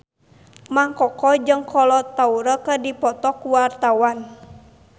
Mang Koko jeung Kolo Taure keur dipoto ku wartawan